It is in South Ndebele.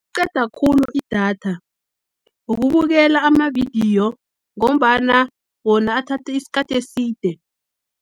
Qeda khulu idatha, ukubukela amavidiyo, ngombana wona athathi isikhathi eside.